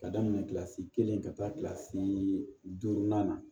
Ka daminɛ kilasi kelen ka taa kila kilasi duuru na